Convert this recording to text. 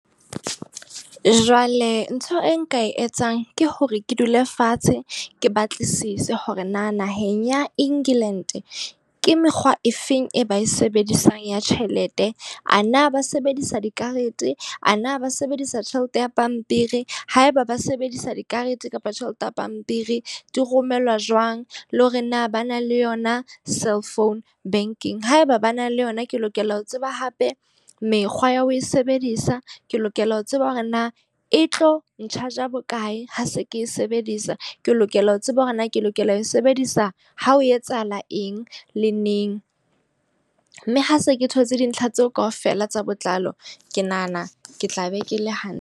Jwale ntho e nka e etsang ke hore ke dule fatshe, ke batlisise hore na naheng ya England ke mekgwa e feng e ba e sebedisang ya tjhelete. A na ba sebedisa dikarete? A na ba sebedisa tjhelete ya pampiri? Haeba ba sebedisa dikarete kapa tjhelete ya pampiri, di romellwa jwang? Le hore na ba na le yona cell phone banking? Haeba ba na le yona, ke lokela ho tseba hape mekgwa ya ho e sebedisa? Ke lokela ho tseba hore na e tlo ncharge bokae, ha se ke e sebedisa? Ke lokela ho tseba hore na ke lokela ho e sebedisa ha ho etsahala eng le neng? Mme ha se ke thotse dintlha tseo ka ofela tsa botlalo. Ke nahana ke tla be ke le hantle.